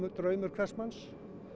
draumur hvers manns